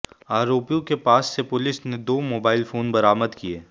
आरोपियों के पास से पुलिस ने दो मोबाइल फोन बरामद किये